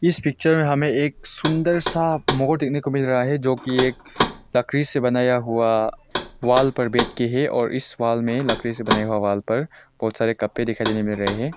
इस पिक्चर में हमें एक सुन्दर सा मोर देखने को मिल रहा है जो कि एक लकड़ी से बनाया हुआ वाल पर बैठ के है और इस वाल में लकड़ी से बनाया हुआ वाल पर बहुत सारे कपड़े दिखाई देने मिल रहे हैं।